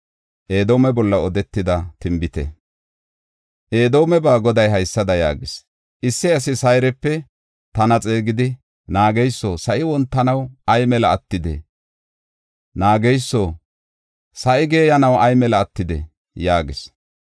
Edoomeba Goday haysada yaagis: “Issi asi Sayrepe tana xeegidi, naageyso, sa7i wontanaw ay mali attidee? Naageyso, sa7i geeyanaw ay mali attidee?” yaagees.